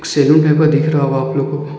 पे दिख रहा होगा आप लोगों को।